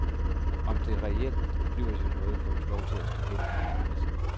Om det reelt blev til noget, får vist lov til at stå hen i det uvisse.